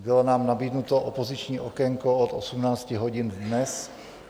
Bylo nám nabídnuto opoziční okénko od 18 hodin dnes.